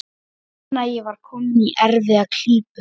Ég fann að ég var kominn í erfiða klípu.